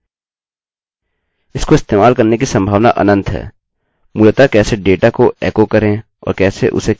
मूलतः कैसे डेटा को एकोechoकरें और कैसे उसे केवल mysql प्रश्न को इस्तेमाल करते हुए कुशलतापूर्वक प्रयोग करें